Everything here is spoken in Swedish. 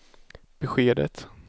beskedet